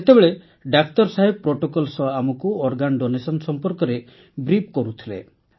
ସେତେବେଳେ ଡାକ୍ତର ସାହେବ ପ୍ରୋଟୋକଲ୍ ସହ ଆମକୁ ଅଙ୍ଗଦାନ ସମ୍ପର୍କରେ କହୁଥିଲେ